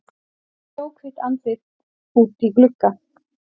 Snjóhvítt andlit úti í glugga.